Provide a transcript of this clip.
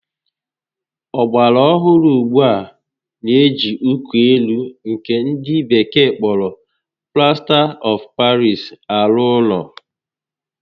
Ọgbara ohụrụ ugbua n'eji uko élú nkè ndị bekee kpọrọ Plasta of Paris arụ ụlọ